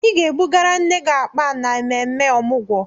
Ị ga-ebugara nne gị akpa a n'ememme Ọmụgwọ!